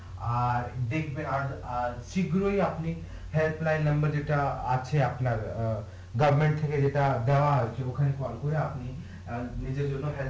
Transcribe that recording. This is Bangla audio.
আর দেখবেন আর আর শীঘ্রই আপনি যেটা আছে আপনার অ্যাঁ থেকে যেটা দেওয়া আছে আপনার ওখানে কল করে আপনি অ্যাঁ নিজের জন্য